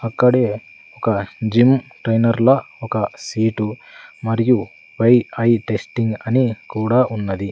అక్కడే ఒక gym trainer ల ఒక సీటు మరియు బై ఐ టెస్టింగ్ అని కూడా ఉన్నది.